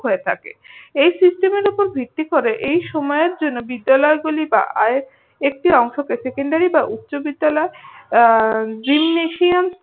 হয়ে থাকে। এই system এর উপর ভিত্তি করে এই সময়ের জন্য বিদ্যালয়গুলি বা একটি অংশকে সেকেন্ডারি বা উচ্চবিদ্যালয় আহ gymnasioum